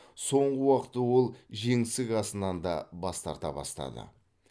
соңғы уақытта ол жеңсік асынан да бас тарта бастады